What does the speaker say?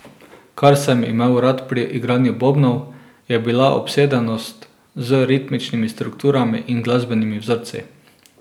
Kar sem imel rad pri igranju bobnov, je bila obsedenost z ritmičnimi strukturami in glasbenimi vzorci.